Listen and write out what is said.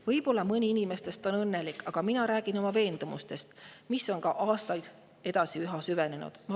"Võib-olla mõni neist on õnnelik, aga räägin oma veendumusest, mis on aastatega üha enam süvenenud.